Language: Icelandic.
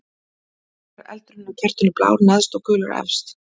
Af hverju er eldurinn á kertinu blár neðst og gulur efst?